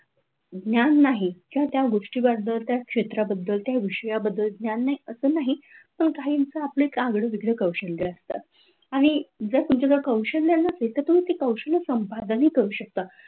ज्ञान नाही किंवा त्या गोष्टीबद्दल त्या क्षेत्राबद्दल त्या विषयाबद्दल नाही पण काहिंच एक आगड वेगळ कौशल्य असत, आणि जर तुमचा ते तुमच्याजवळ कौशल्य नसेल तर तुम्ही तुम्ही ते कौशल्य संपादन ही करू शकतात.